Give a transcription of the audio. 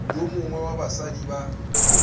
yo mongwe wa basadi ba